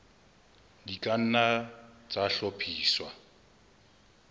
di ka nna tsa hlophiswa